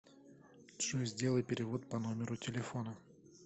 джой сделай перевод по номеру телефона